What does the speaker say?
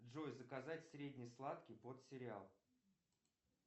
джой заказать средний сладкий под сериал